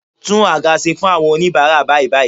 Tún àga ṣe fún àwọn oníbara bàìbàì